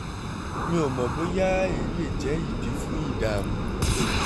mi ò mọ̀ bóyá èyí lè jẹ́ ìdí fún ìdààmú